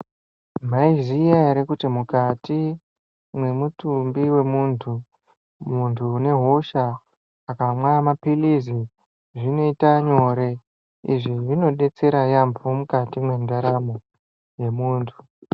Maiziya ere kuti mukati mwemutumbi wemuntu, muntu une hosha akamwa maphiritsi zvinoita nyore. Izvi zvinobetsera mukati mendaramo yemuntu.